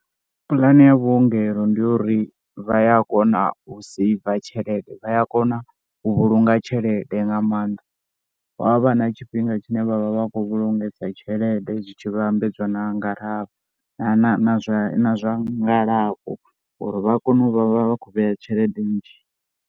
Pulane ya vhuongelo ndi ya uri vha ya kona u saiva tshelede. Vha ya kona u vhulunga tshelede nga maanḓa, hu a vha na tshifhinga tshine vha vha vha khou vhulungesa tshelede zwi tshi vhambedzwa na nga kha, na zwa ngalafho uri vha kone u vha vha vha khou vheya tshelede nnzhi.